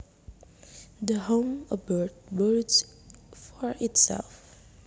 The home a bird builds for itself